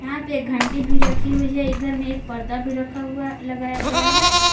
यहां पे एक घंटी भी रखी हुई है इधर में रखा हुआ लगाया गया है।